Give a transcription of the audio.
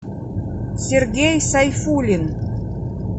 сергей сайфуллин